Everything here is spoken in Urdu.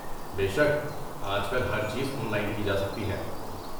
بے شک! آج کل ہر چیز آن لائن کی جا سکتی ہے۔